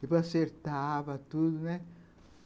Depois acertava tudo, né